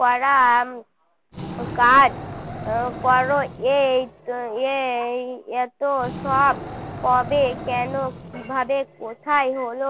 করা উম কাজ করো এই এই এতসব কবে কেন কী ভাবে কোথায় হল